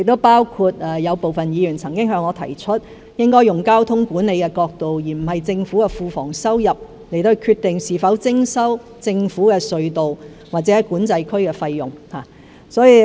部分議員也曾向我提出，應從交通管理而不是政府庫房收入的角度，決定是否徵收政府隧道或管制區的費用。